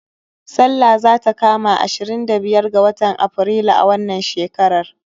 Sallah zata kama ashirin da biyar ga watan Aprilu a wannan shekarar